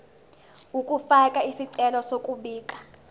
ukufaka isicelo sokubika